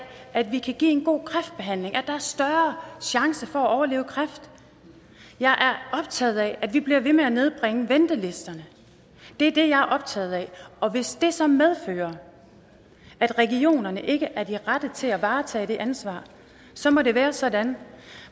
at vi kan give en god kræftbehandling at der er større chance for at overleve kræft jeg er optaget af at vi bliver ved med at nedbringe ventelisterne det er det jeg er optaget af og hvis det så medfører at regionerne ikke er de rette til at varetage det ansvar så må det være sådan